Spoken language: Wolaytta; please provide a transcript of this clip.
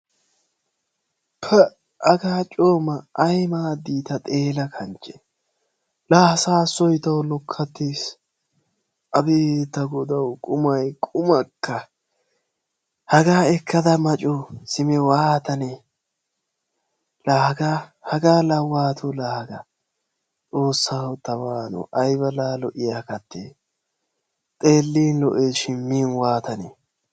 Pa ha coo maa! Ay maadi ta xeella kanchche la saassoy taw lokkattee! Abeeti ta godaw qumay qumakka! Haga ekkada ma coo, simi waatanne, laa haga, haga la waatto, Xoossaw ta waano aybba lo"iya kattee! Xeelin lo"eshin min waatanne?